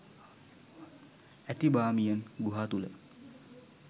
ඇති බාමියන් ගුහා තුළ